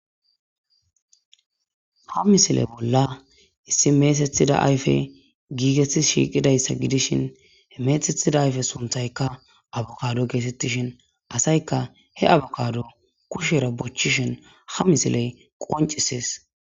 ha misile bolla issi meesethida ayfe giigetti shiiqidayssa gidishin he meethethida ayfe sunthaykka abokado geesettishin asayka he abokado kushera bochchishin ha misiley qoncisees